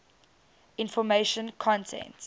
information content